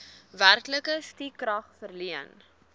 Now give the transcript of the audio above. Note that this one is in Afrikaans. werklike stukrag verleen